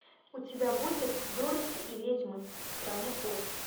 у тебя будет дороти и ведьмы страны оз